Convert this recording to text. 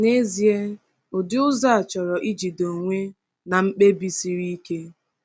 N’ezie, ụdị ụzọ a chọrọ ijide onwe na mkpebi siri ike.